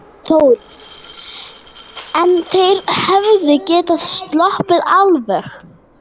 Þór: En þeir hefðu getað sloppið alveg?